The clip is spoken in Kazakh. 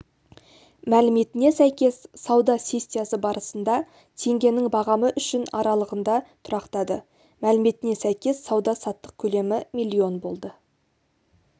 мәліметіне сәйкес сауда сессиясы барысында теңгенің бағамы үшін аралығында тұрақтады мәліметіне сәйкес сауда-саттық көлемі миллион болды